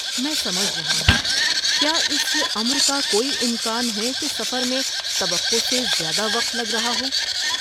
میں سمجھ رہا ہوں، کیا اس امر کا کوئی امکان ہے کہ سفر میں توقع سے زیادہ وقت لگ رہا ہو؟